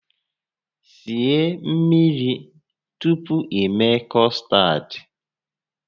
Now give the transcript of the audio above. Sie mmiri tupu i mee kọstad!